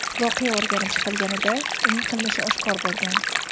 Voqea o‘rganib chiqilganida, uning qilmishi oshkor bo‘lgan.